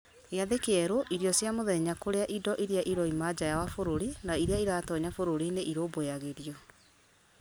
gĩathĩ kĩerũ irio cia mũthenya kũrĩa indo iria iroima njaa wa bũrũri na iria iratonya bũrũri-inĩ irũmbũyagĩrio